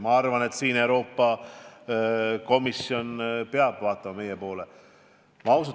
Ma arvan, et Euroopa Komisjon peab siin meie poole vaatama.